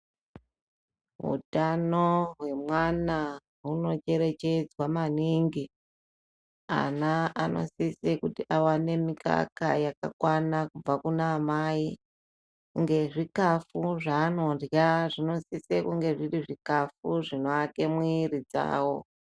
Utano hwemwana hunocherechedzwa maningi. Ana anosise kuti awane mikaka wakakwana kubve kuna amai, ngezvikafu zvaanorya zvinosise kunge zviri zvikafu zvinoake mwiri dzawo.